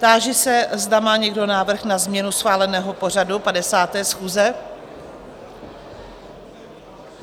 Táži se, zda má někdo návrh na změnu schváleného pořadu 50. schůze?